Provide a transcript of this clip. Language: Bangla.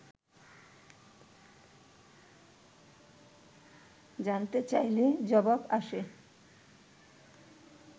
জানতে চাইলে জবাব আসে